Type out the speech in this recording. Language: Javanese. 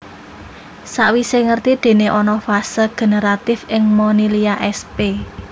Sakwise ngerti dene ana fase generatif ing Monilia sp